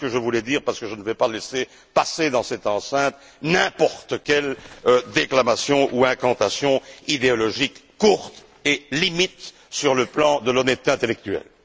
Voilà ce que je voulais dire, parce que je ne vais pas laisser passer dans cette enceinte n'importe quelle déclamation ou incantation idéologique courte et limite sur le plan de l'honnêteté intellectuelle.